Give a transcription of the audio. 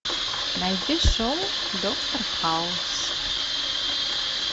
найди шоу доктор хаус